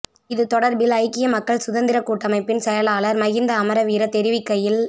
இது தொடர்பில் ஐக்கிய மக்கள் சுதந்திர கூட்டமைப்பின் செயலாளர் மஹிந்த அமரவீர தெரிவிக்கையில்